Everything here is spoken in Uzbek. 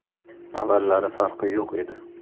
Avvallari farqi yo‘q edi.